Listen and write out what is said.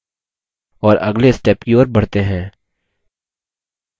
और अगले step की ओर बढ़ते हैं